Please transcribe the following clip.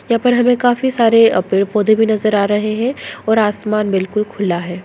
यहाँ पर हमें काफी सारे पेड़-पौधे भी नज़र आ रहे है और आसमान बिलकुल खुला है।